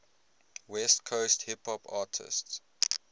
west coast hip hop artists